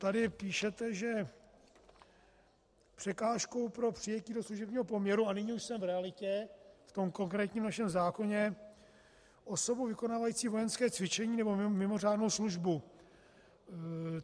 Tady píšete, že překážkou pro přijetí do služebního poměru - a nyní už jsem v realitě, v tom konkrétním našem zákoně - osobou vykonávající vojenské cvičení nebo mimořádnou službu.